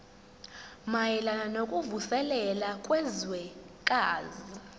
mayelana nokuvuselela kwezwekazi